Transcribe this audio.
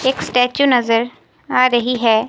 एक स्टेच्यू नजर आ रही है।